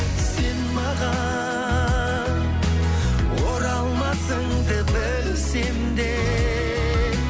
сен маған оралмасыңды білсем де